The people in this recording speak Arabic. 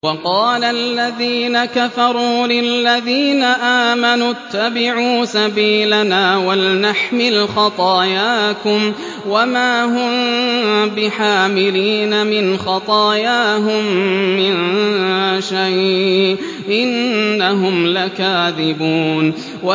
وَقَالَ الَّذِينَ كَفَرُوا لِلَّذِينَ آمَنُوا اتَّبِعُوا سَبِيلَنَا وَلْنَحْمِلْ خَطَايَاكُمْ وَمَا هُم بِحَامِلِينَ مِنْ خَطَايَاهُم مِّن شَيْءٍ ۖ إِنَّهُمْ لَكَاذِبُونَ